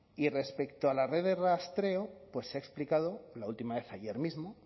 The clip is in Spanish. y respecto a la red de rastreo pues he explicado la última vez ayer mismo